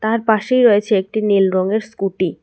তার পাশেই রয়েছে একটি নীল রঙের স্কুটি ।